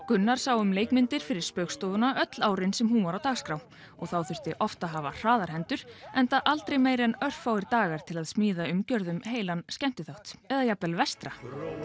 Gunnar sá um leikmyndir fyrir Spaugstofuna öll árin sem hún var á dagskrá og þá þurfti oft að hafa hraðar hendur enda aldrei meira en örfáir dagar til að smíða umgjörð um heilan skemmtiþátt eða jafnvel vestra